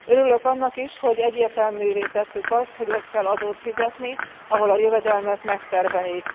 Örülök annak is, hogy egyértelművé tettük azt, hogy ott kell adót fizetni, ahol a jövedelmet megtermelik.